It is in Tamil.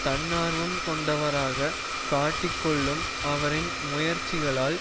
தன்னார்வம் கொண்டவராக காட்டிக் கொள்ளும் அவரின் முயற்சிகளால்